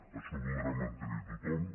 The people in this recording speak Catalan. això ho voldrà mantenir tothom